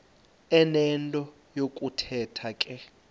enento yokuthetha ke